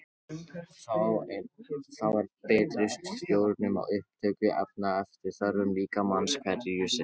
Þá er betri stjórnun á upptöku efna eftir þörfum líkamans hverju sinni.